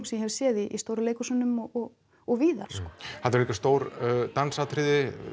sem ég hef séð í stóru leikhúsunum og og víðar þarna eru líka stór dansatriði